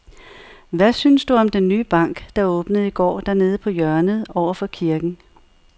Hvad synes du om den nye bank, der åbnede i går dernede på hjørnet over for kirken?